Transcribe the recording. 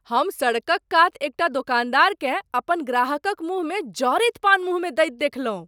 हम सड़कक कात एकटा दोकानदारकेँ अपन ग्राहकक मुँहमे जरैत पान मुँह मे दैत देखलहुँ।